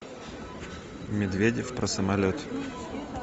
медведев про самолет